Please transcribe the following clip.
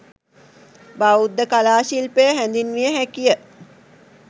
බෞද්ධ කලා ශිල්පය හැඳින්විය හැකි ය.